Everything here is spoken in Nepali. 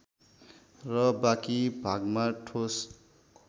र बाँकी भागमा ठोस